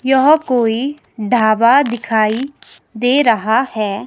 यह कोई ढाबा दिखाई दे रहा है।